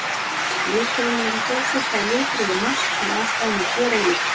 Liturinn er ekki ósvipaður litbrigðum Mars en ástæðan er gerólík.